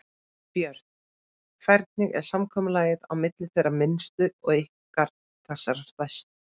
Björn: Hvernig er samkomulagið á milli þeirra minnstu og ykkar þessara stærstu?